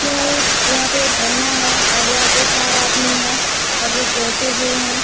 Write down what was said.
क्यों एक यहाँ पर एक झरना है और यहाँ पे चार आदमी हैं और एक बैठे हुए हैं।